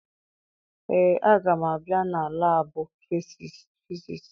Ee, aga m abịa na laabụ fisiisi.